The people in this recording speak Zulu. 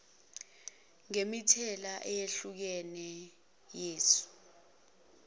ngemithelela eyehlukene yesu